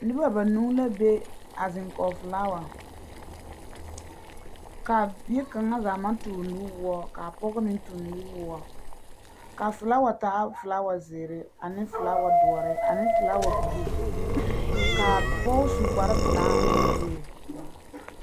Noba banuu la be, a zeŋe kͻge filaawa, ka a bie kaŋa zaa maŋ toore nuwõͻ ka a pͻge meŋ tuŋi nuwõͻ. Ka a filaawa taa filaawa zeere ane filaawa dõõre ane filaawa buluu. Ka a pͻge su kpare pelaa ane kuree.